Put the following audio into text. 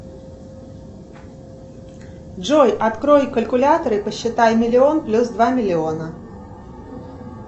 джой открой калькулятор и посчитай миллион плюс два миллиона